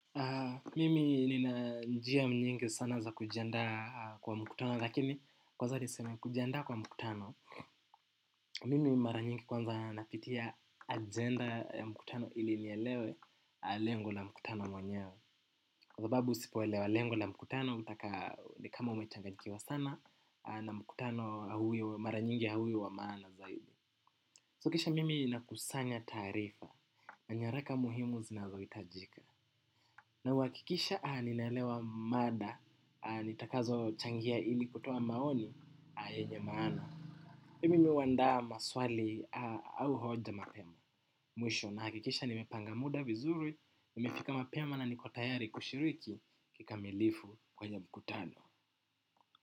Mimi nina njia nyingi sana za kujianda kwa mkutano lakini kwanza niseme kujianda kwa mkutano. Mimi maravnyingi kwanza napitia agenda ya mkutano ili nielewe lengo la mkutano mwenyewe. Kwa sababu usipoelewa lengo la mkutano utaka kama umechanganyikiwa sana na mkutano mara nyingi hauwi wa maana zaidi So kisha mimi ninakusanya tarifa na nyaraka muhimu zinazohitajika. Na huhakikisha ninalewa mada, nitakazo changia ili kutoa maoni, yenye maana. Pia mimi huandaa maswali au hoja mapema, mwisho. Nahakikisha nimepanga muda vizuri, nimefika mapema na niko tayari kushiriki kikamilifu kwenye mkutano.